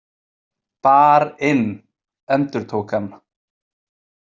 Bar- inn, endurtók hann.